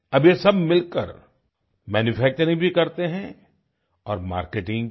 अब ये सब मिलकर मैन्यूफैक्चरिंग भी करते हैं और मार्केटिंग भी